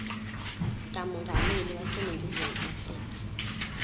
kamongameli waseningizimu afrika